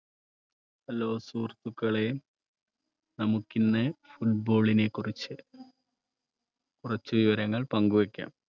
Hello സുഹൃത്തുക്കളെ നമുക്കിന്ന് ഫുട്ബോളിനെ കുറിച്ച് കുറച്ചു വിവരങ്ങൾ പങ്കുവയ്ക്കാം